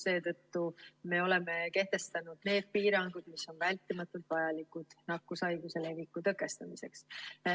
Seetõttu me oleme kehtestanud need piirangud, mis on vältimatult vajalikud nakkushaiguse leviku tõkestamiseks.